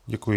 Děkuji.